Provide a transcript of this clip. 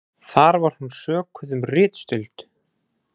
Þar var hún sökuð um ritstuld